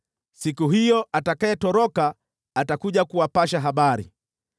siku hiyo atakayetoroka atakuja kuwapasha habari.